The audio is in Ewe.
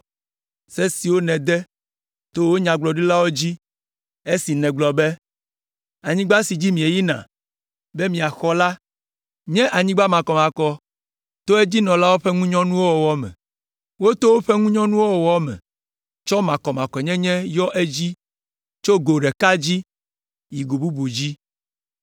se siwo nède to wò nyagblɔɖilawo dzi esi nègblɔ be, ‘Anyigba si dzi mieyina be miaxɔ la nye anyigba makɔmakɔ to edzinɔlawo ƒe ŋunyɔnuwo wɔwɔ me. Woto woƒe ŋunyɔnuwo wɔwɔ me tsɔ makɔmakɔnyenye yɔ edzii tso go ɖeka dzi, yi go bubu dzi.